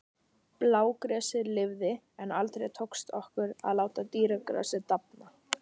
Blágresið lifði, en aldrei tókst okkur að láta dýragrasið dafna.